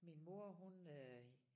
Min mor hun øh